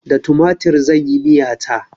Da tumatir zan yi miya ta.